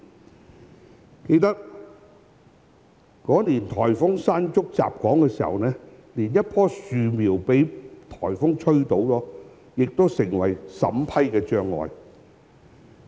我記得那年颱風"山竹"襲港時，連一棵樹苗被颱風吹倒也成審批的障礙。